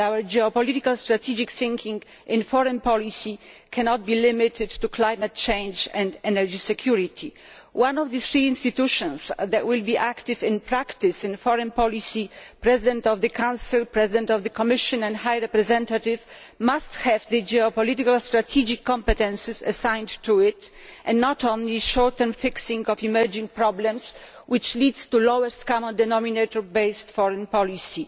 Our geopolitical strategic thinking in foreign policy cannot be limited to climate change and energy security. One of the three institutions that will, in practice, be active in foreign policy President of the Council, President of the Commission and High Representative must have the geopolitical strategic competences assigned to it and not only short term fixing of emerging problems, which leads to lowest common denominator based foreign policy.